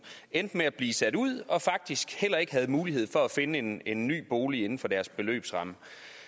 endte med at blive sat ud og faktisk heller ikke havde mulighed for at finde en en ny bolig inden for deres beløbsramme